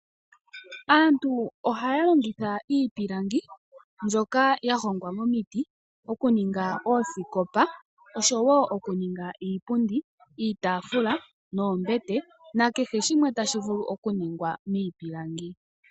Aantu ohaya longitha iipilangi mbyoka ya hongwa momiti oku ninga oosikopa oshowo okuninga iipundi, iitafuula noombete nakehe shimwe tashi vulu okuningwa miipilangi.